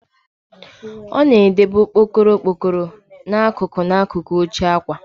A na-edebe okpokoro n'akụkụ n'akụkụ oche akwa.